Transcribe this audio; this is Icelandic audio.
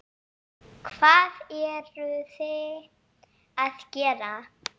Hvað eruði að gera?